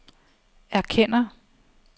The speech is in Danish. erkender